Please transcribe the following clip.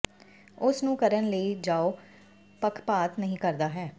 ਉਸ ਨੂੰ ਕਰਨ ਲਈ ਜਾਓ ਪੱਖਪਾਤ ਨਹੀ ਕਰਦਾ ਹੈ